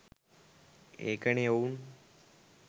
ඒකනේ ඔවුන්